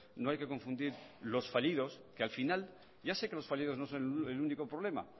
no hay que confundir los fallidos que al final ya sé que los fallidos no son el único problema